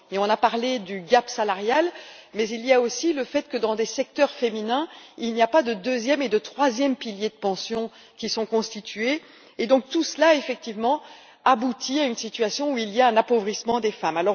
On a parlé de l'écart salarial, mais il y a aussi le fait que dans des secteurs féminins, il n'y a pas de deuxième et de troisième piliers de pension qui sont constitués et donc tout cela effectivement aboutit à une situation où il y a un appauvrissement des femmes.